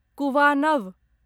कुवानव